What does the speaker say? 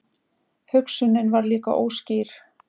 Hugsunin var líka óskýr.